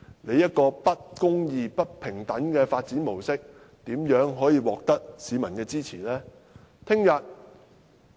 這種不公義、不平等的發展模式，怎可能獲得市民的支持呢？